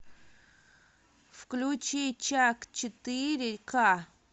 включи чак четыре ка